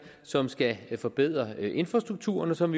som skal forbedre infrastrukturen som